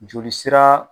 Joli sira